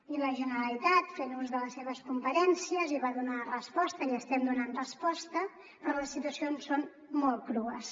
i la generalitat fent ús de les seves competències hi va donar resposta i hi estem donant resposta però les situacions són molt crues